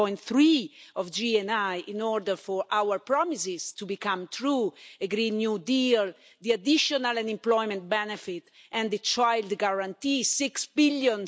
1.3 of GNI in order for our promises to become true a Green New Deal, the additional unemployment benefit and the Child Guarantee of six billion.